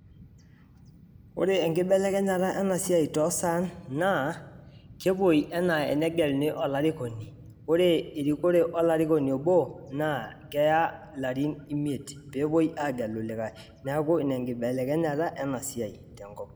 Ore enkibelekenyata ena siai toosan naa kepuoi enaa enegeluni olarikoni ore erikore olarikoni obo naa keya ilarin imiet pee epuoi aagelu likai niaku ina enkibelekenyata ena siai tenkop